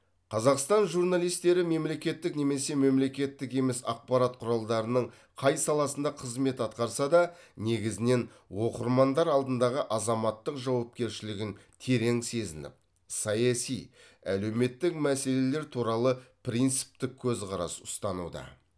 қазақстан журналистері мемлекеттік немесе мемлекеттік емес ақпарат құралдарының қай саласында қызмет атқарса да негізінен оқырмандар алдындағы азаматтық жауапкершілігін терең сезініп саяси әлеуметтік мәселелер туралы принциптік көзқарас ұстануда